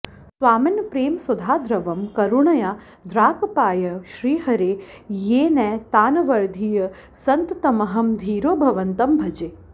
स्वामिन् प्रेमसुधाद्रवं करुणया द्राक्पायय श्रीहरे येनैतानवधीर्य सन्ततमहं धीरो भवन्तं भजे